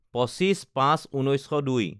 ২৮/০৫/১৯০২